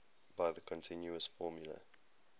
by the continuous formula